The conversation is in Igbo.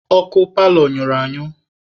Ọkụ paalọ nyụrụ anyụ.